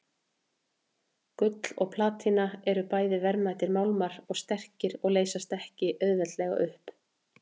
Gull og platína eru bæði verðmætir málmar og sterkir og leysast ekki auðveldlega upp.